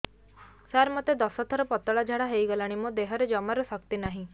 ସାର ମୋତେ ଦଶ ଥର ପତଳା ଝାଡା ହେଇଗଲାଣି ମୋ ଦେହରେ ଜମାରୁ ଶକ୍ତି ନାହିଁ